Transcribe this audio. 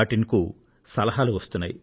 in కు వస్తున్నాయి